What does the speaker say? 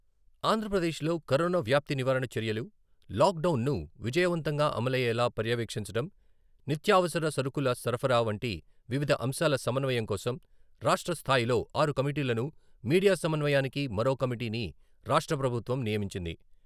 ఆంధ్రప్రదేశ్లో కరోనా వ్యాప్తి నివారణ చర్యలు, లాక్డౌన్ ను విజయవంతంగా అమలయ్యేలా పర్యవేక్షించడం, నిత్యావసర సరకుల సరఫరా వంటి వివిధ అంశాల సమన్వయం కోసం రాష్ట్రస్థాయిలో ఆరు కమిటీలను, మీడియా సమన్వయానికి మరో కమిటీని రాష్ట్ర ప్రభుత్వం నియమించింది.